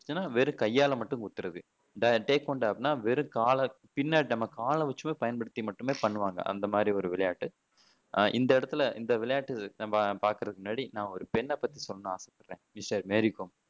இதெல்லாம் வெறும் கையால மட்டும் குத்துறது கேட்வண்டா அப்படின்னா வெறும் கால பின்ன நம்ம காலை வச்சு பயன்படுத்தி மட்டுமே பண்ணுவாங்க அந்த மாதிரி ஒரு விளையாட்டு அஹ் இந்த இடத்துல இந்த விளையாட்டு நம்ம பாக்குறதுக்கு முன்னாடி நான் வந்து ஒரு பெண்ணை பத்தி சொல்லணும்னு ஆசைப்படுறேன் மேரி கோம்